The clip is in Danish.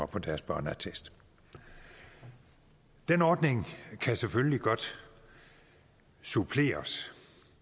på deres børneattest den ordning kan selvfølgelig godt suppleres